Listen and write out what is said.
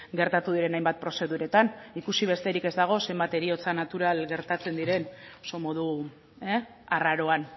gertatu diren hainbat prozeduretan ikusi besterik ez dago zenbat heriotza natural gertatzen diren oso modu arraroan